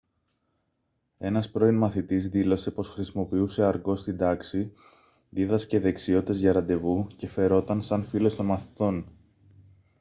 ένας πρώην μαθητής δήλωσε πως «χρησιμοποιούσε αργκό στην τάξη δίδασκε δεξιότητες για ραντεβού και φερόταν σαν φίλος των μαθητών»